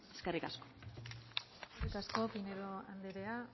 eskerrik asko eskerrik asko pinedo andrea